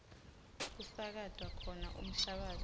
kusakatwa khona umhlabatsi